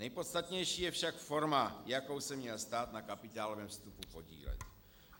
Nejpodstatnější je však forma, jakou se měl stát na kapitálovém vstupu podílet.